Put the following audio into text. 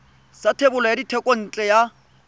sa thebolo ya thekontle ya